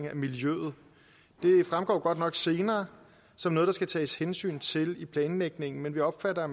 af miljøet det fremgår godt nok senere som noget der skal tages hensyn til i planlægningen men vi opfatter